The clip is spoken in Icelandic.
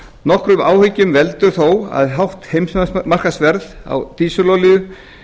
nokkrum áhyggjum veldur þó að hátt heimsmarkaðsverð dísilolíu